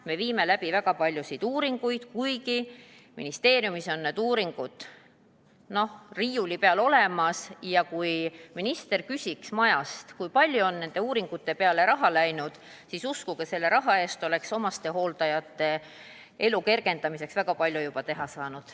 Me oleme teinud väga palju uuringuid, ministeeriumis on need uuringud n-ö riiuli peal olemas, ja kui minister küsiks majast, kui palju on nende uuringute peale raha läinud, siis uskuge, selle raha eest oleks omastehooldajate elu kergendamiseks juba väga palju ära teha saanud.